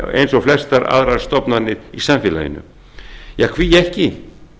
eins og flestar aðrar stofnanir í samfélaginu ja hví ekki